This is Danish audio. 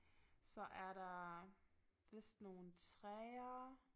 Så er der vist nogle træer